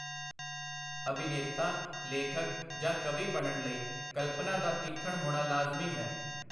ਅਭਿਨੇਤਾ, ਲੇਖਕ, ਜਾਂ ਕਵੀ ਬਣਨ ਲਈ ਕਲਪਨਾ ਦਾ ਤੀਖਣ ਹੋਣਾ ਲਾਜ਼ਮੀ ਹੈ.